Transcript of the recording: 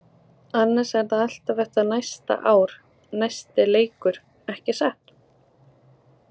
Annars er það alltaf þetta næsta ár-næsti leikur, ekki satt?